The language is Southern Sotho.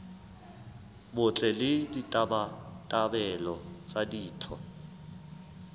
botle le ditabatabelo tsa ditho